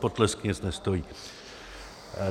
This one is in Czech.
Potlesk nic nestojí.